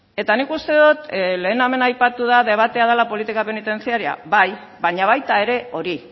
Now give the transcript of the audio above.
eta nik uste dut lehen hemen aipatu da debatea dela politika penitentziarioa bai baina baita ere hori